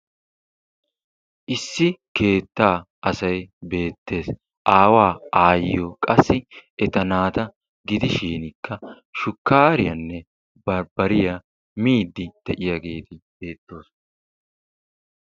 Issi keettaa asay beettees. Aawaa, aayyiyo qassi eta naata gidishiinikka shukkaariyanne barbbariya miiddi de'iyageeti beettoosona.